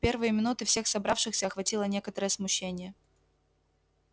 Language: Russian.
в первые минуты всех собравшихся охватило некоторое смущение